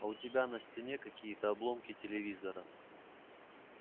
а у тебя на стене какие-то обломки телевизора